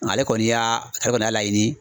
Ale kɔni y'a ale kɔni y'a laɲini